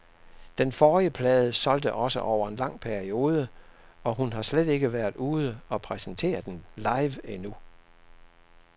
Den forrige plade solgte også over en lang periode, og hun har slet ikke været ude og præsentere den live endnu.